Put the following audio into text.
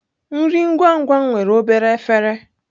Nri ngwa ngwa nwere obere efere.